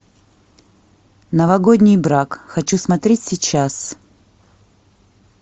новогодний брак хочу смотреть сейчас